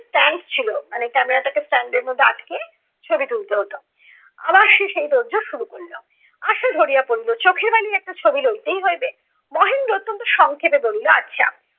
stand ছিলো মানে camera টাকে stand এর মধ্যে আটকে ছবি তুলতে হতো। আবার সে সেই তোর জোর শুরু করলো। আশা ধরিয়া পড়িলো, চোখের বালির একটা ছবি লইতেই হইবে। মহেন্দ্র অত্যন্ত সংক্ষেপে বলিল, আচ্ছা